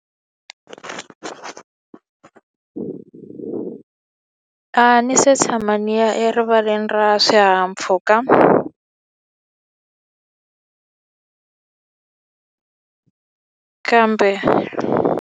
A ni se tshama ndzi ya erivaleni ra swihahampfhuka kambe.